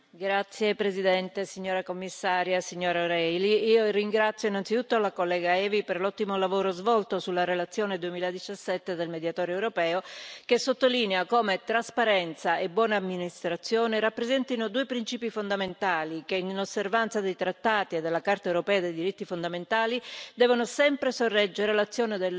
Signor Presidente, onorevoli colleghi, signora Commissaria, signora O'Reilly, io ringrazio innanzitutto la collega Evi per l'ottimo lavoro svolto sulla relazione 2017 del Mediatore europeo, che sottolinea come trasparenza e buona amministrazione rappresentino due principi fondamentali che, in osservanza dei trattati e della Carta europea dei diritti fondamentali, devono sempre sorreggere l'azione